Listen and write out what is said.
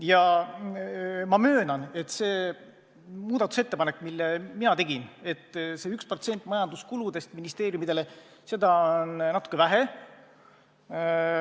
Ja ma möönan, et see muudatusettepanek, mille mina tegin, et vähendada 1% võrra ministeeriumide majanduskulusid – seda on natuke vähe.